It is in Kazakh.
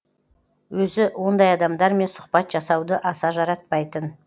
өзі ондай адамдармен сұхбат жасауды аса жаратпайтын